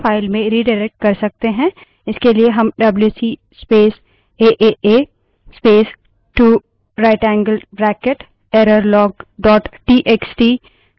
इसके लिए हम WC space aaa aaa aaa space 2 right angled bracket errorlog dot TXT wc space aaa space 2 rightanged bracket errorlog txt command दे सकते हैं